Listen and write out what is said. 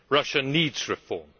Russia needs reform.